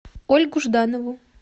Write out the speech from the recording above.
ольгу жданову